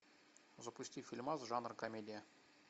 запусти фильмас жанр комедия